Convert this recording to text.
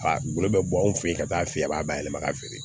A bolo bɛ bɔ anw fɛ yen ka taa f'i ye a b'a bayɛlɛma ka feere